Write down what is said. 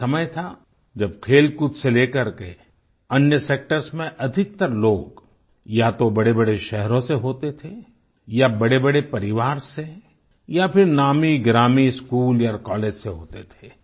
एक समय था जब खेलकूद से लेकर के अन्य सेक्टर्स में अधिकतर लोग या तो बड़ेबड़े शहरों से होते थे या बड़ेबड़े परिवार से या फिर नामीगिरामी स्कूल या कॉलेज से होते थे